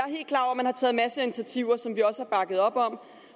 initiativer som vi også har bakket op om